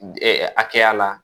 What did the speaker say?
hakɛya la